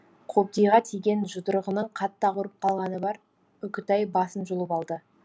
қобдиға тиген жұдырығының қатты ауырып қалғаны бар үкітай басын жұлып алды